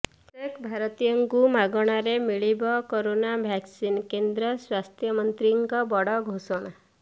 ପ୍ରତ୍ୟେକ ଭାରତୀୟଙ୍କୁ ମାଗଣାରେ ମିଳିବ କରୋନା ଭାକସିନ୍ କେନ୍ଦ୍ର ସ୍ୱାସ୍ଥ୍ୟମନ୍ତ୍ରୀଙ୍କ ବଡ ଘୋଷଣା